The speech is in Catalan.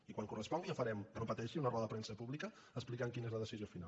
i quan correspongui ja farem no pateixi una roda de premsa pública explicant quina és la decisió final